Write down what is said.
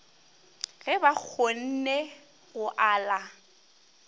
ge ba kgonne go ala